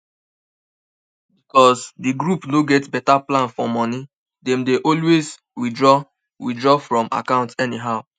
because di group no get better plan for money dem dey always withdraw withdraw from account anyhow